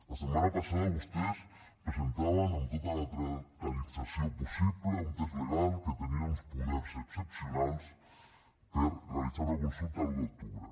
la setmana passada vostès presentaven amb tota la teatralització possible un text legal que tenia uns poders excepcionals per realitzar una consulta l’un d’octubre